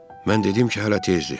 Mən dedim ki, hələ tezdir.